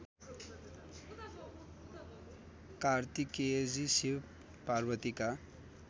कार्तिकेयजी शिव पार्वतीका